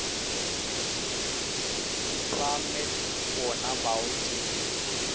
ba met bona bao ke